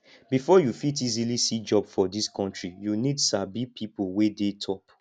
before you fit easily see job for this country you need sabi people wey dey top